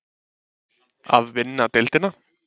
Að vinna deildina?